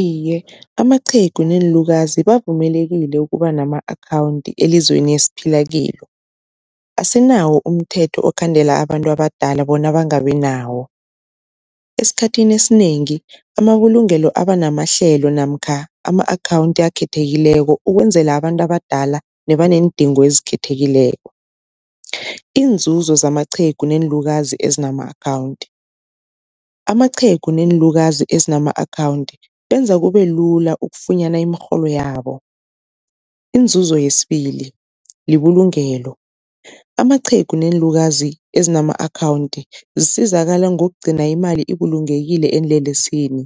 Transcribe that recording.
Iye, amaqhegu neenlukazi bavumelekile ukuba nama-akhawunthi elizweni esiphila kilo, asinawo umthetho okhandela abantu abadala bona bangabi nawo. Esikhathini esinengi amabulungelo abanamahlelo namkha ama-akhawunthi akhethekileko ukwenzela abantu abadala nebaneendingo ezikhethekileko. Iinzuzo zamaqhegu neenlukazi ezinama akhawunthi, amaqhegu neenlukazi ezinama akhawunthi benza kube lula ukufunyana imirholo yabo, inzuzo yesibili libulungelo amaqhegu neenlukazi ezinama akhawunthi zisizakala ngokugcina imali ibulungekile eenlelesini,